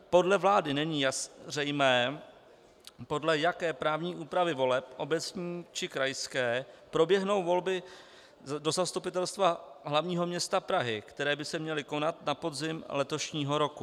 Podle vlády není zřejmé, podle jaké právní úpravy voleb - obecní, či krajské - proběhnou volby do Zastupitelstva hlavního města Prahy, které by se měly konat na podzim letošního roku.